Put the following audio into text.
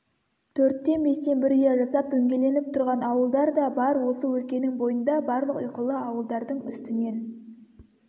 төрттен-бестен бір ұя жасап дөңгеленіп тұрған ауылдар да бар осы өлкенің бойында барлық ұйқылы ауылдардың үстінен